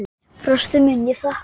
Fóstri minn, ég þakka þér.